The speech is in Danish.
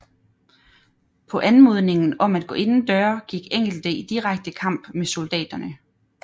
På anmodningen om at gå indendøre gik enkelte i direkte kamp med soldaterne